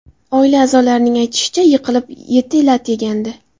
Oila a’zolarining aytishicha, yiqilib eti lat yegandi .